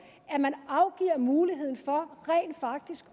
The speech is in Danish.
at man afgiver muligheden for rent faktisk